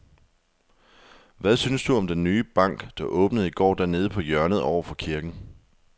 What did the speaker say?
Hvad synes du om den nye bank, der åbnede i går dernede på hjørnet over for kirken?